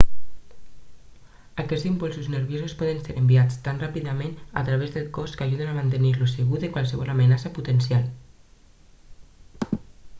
aquests impulsos nerviosos poden ser enviats tan ràpidament a través del cos que ajuden a mantenir-lo segur de qualsevol amenaça potencial